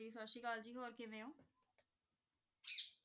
ਸਾਸਰੀਕਾਲ ਜੀ ਹੋਰ ਕਿਵੇਂ ਊ